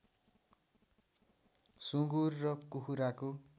सुँगुर र कुखुराको